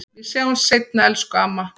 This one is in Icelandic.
Við sjáumst seinna, elsku amma.